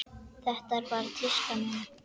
Þetta er bara tíska núna.